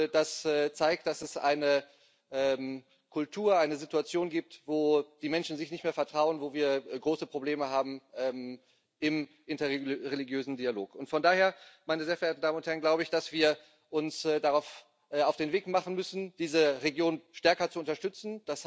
Das zeigt, dass es eine Kultur, eine Situation gibt, wo die Menschen sich nicht mehr vertrauen, wo wir große Probleme im interreligiösen Dialog haben. Daher, meine sehr verehrten Damen und Herren, glaube ich, dass wir uns auf den Weg machen müssen, diese Region stärker zu unterstützen.